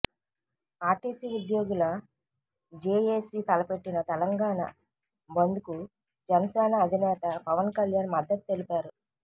RTC ఉద్యోగుల JAC తలపెట్టిన తెలంగాణ బంద్కు జనసేన అధినేత పవన్ కళ్యాణ్ మద్దతు తెలిపారు